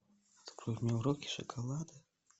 открой мне уроки шоколада